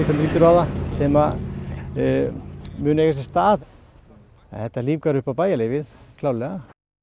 lítur á það sem munu eiga sér stað en þetta lífgar upp á bæjarlífið klárlega